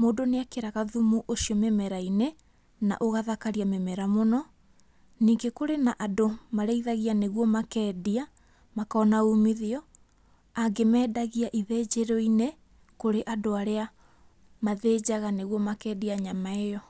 mũndũ nĩekĩraga thumu ũcio mĩmerainĩ na ũgathakaria mĩmera mũno. Ningĩ kũrĩ na andũ marĩithagia nĩguo makendia makona ũmithio, angĩ mendagia ithĩnjĩroinĩ kũrĩ andũ arĩa mathĩnjaga nĩgũo makendia nyama ĩyo.